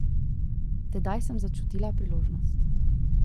Tedaj sem začutila priložnost.